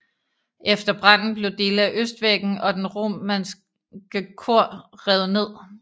Efter branden blev dele af østvæggen og det romanske kor revet ned